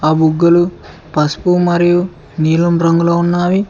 ఆ ముగ్గులు పసుపు మరియు నీలం రంగులో ఉన్నవి.